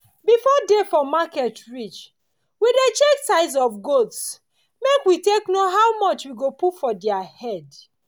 before day for market reach we dey check size of goats make we take know how much we go put for diir head.